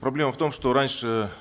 проблема в том что раньше